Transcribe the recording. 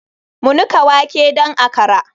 Mu nika wake don akra.